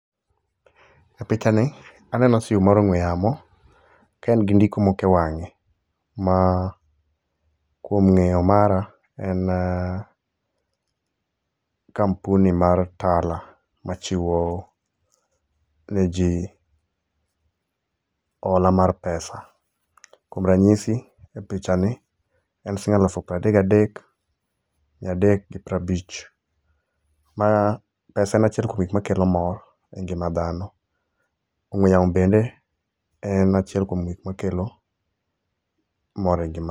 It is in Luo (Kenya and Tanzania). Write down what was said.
Picha ni aneno sime mar ong'we yamo ka en gi ndiko moko e wang'e ma kwom ng'eyo mara en kampuni mar Tala machiwo ne ji hola mar pesa. Kuom rachisi e picha ni en siling elufu piero adek gi adek mia adek gi piero abich. Mara pesa en achiel kuom gik makelo mor e ngima dhano. Ong'we yamo bende en achiel kuom gik makelo moe engima.